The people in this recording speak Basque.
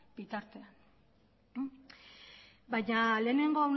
bitartean baina lehenengo